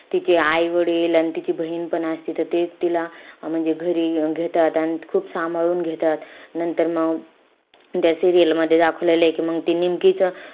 तिचे आई-वडील, अन तिची बहिणपण असती. त तेच तिला म्हणजे घरी घेतात. अन खूप सांभाळून घेतात. नंतर मग त्या serial मध्ये दाखवलेलंय कि मंग ते निमकीचं,